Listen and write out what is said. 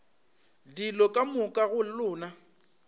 dilo ka moka go lona